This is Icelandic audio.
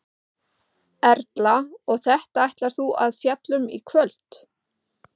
Erla: Og þetta ætlar þú að fjalla um í kvöld?